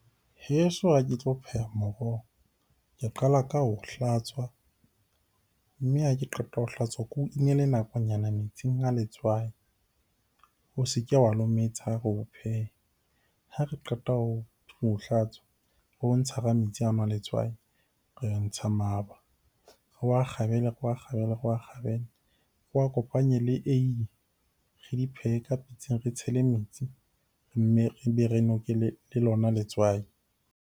Heso ha ke tlo pheha moroho ke qala ka ho hlatswa, mme ha ke qeta ho hlatswa ko inele nakonyana metsing a letswai o se ke wa lometsa ha re o pheha. Ha re qeta ho o hlatswa, re o ntsha hara metsi ano a letswai. Re ntsha , re wa kgabele, re wa kgabele, re wa kgabele. Re a kopanye le eiye, re di phehe ka pitseng re tshele metsi mme re be re noke le lona letswai.